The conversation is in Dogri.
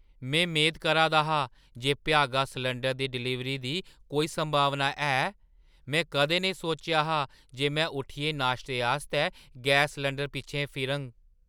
में मेद करा दा हा जे भ्यागा सलैंडर दी डलीवरी दी कोई संभावना है। में कदें नेईं सोचेआ हा जे में उट्ठियै नाश्ते आस्तै गैस सलैंडरै पिच्छें फिरगा!